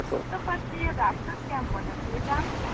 તો પછી એ રાક્ષસ કેમ બનીયોતો એ જાણીયુ છે